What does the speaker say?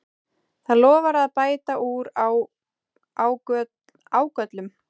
Það lofar að bæta úr ágöllum